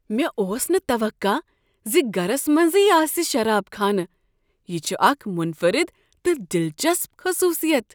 مےٚ اوس نہ توقع زِگرس منزٕے آسہ شراب خانہ، یہ چھ اکھ منفرد تہٕ دلچسپ خصوصیت